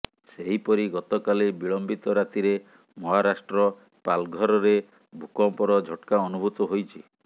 ସେହିପରି ଗତକାଲି ବିଳମ୍ବିତ ରାତିରେ ମହାରାଷ୍ଟ୍ର ପାଲଘରରେ ଭୂକମ୍ପର ଝଟ୍କା ଅନୁଭୂତ ହୋଇଛି